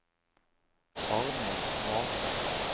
Arnhild Matre